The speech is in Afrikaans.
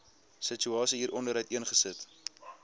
situasie hieronder uiteengesit